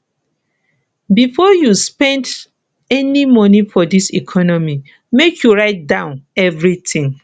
before you spend any moni for dis economy make you write down everytin